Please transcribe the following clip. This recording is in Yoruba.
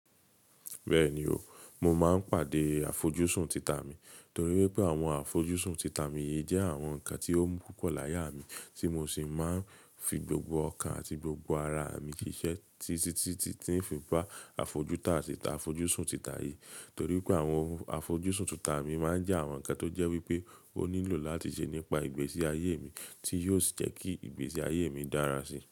Bẹ́ẹ̀ni o, mo máa ń pàdé àfojúsùn títà mi, torí wípé àwọn àfojúsùn títà mi jẹ́ àwọn ǹkan tí ó mú púpọ̀ láyé mi tí mo sì máa ń fi gbogbo ọkàn àti gbogbo ara mi ṣiṣẹ́, tí tí tí n fi bá àfojúsùn títà yìí, torí pé àwọn àfojúsùn títà mi máa ń jẹ́ àwọn ǹkan tó jẹ́ wípé ó nílò láti ṣe nípa ìgbésí ayé mi tí yóò jẹ́ kí ìgbésí ayé mi dára sí.